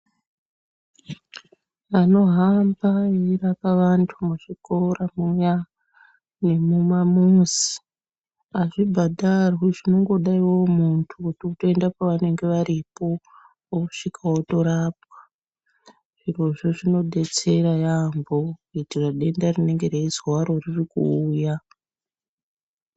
Vanohamba veirapa vantu muzvikora muya nemumamuzi azvibhadharwi zvinongoda iwewe muntu kuti utoenda pavanenge varipo wosvika wotorapwa. Zvirozvo zvinobetsera yambo kuitire denda rinenge reizi waro ririkuuya.